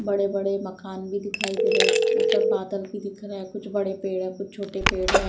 बड़े बड़े मकान भी दिखाई दे रहे हैं। ऊपर बादल भी दिख रहे है। कुछ बड़े पेड़ है कुछ छोटे पेड़ है।